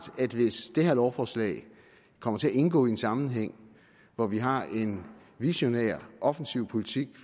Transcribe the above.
at hvis det her lovforslag kommer til at indgå i en sammenhæng hvor vi har en visionær og offensiv politik